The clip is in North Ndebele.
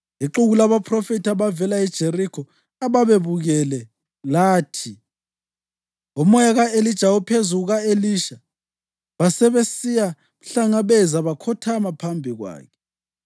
Ixuku labaphrofethi ababevela eJerikho, ababebukele, lathi, “Umoya ka-Elija uphezu kuka-Elisha.” Basebesiya mhlangabeza bakhothama phambi kwakhe.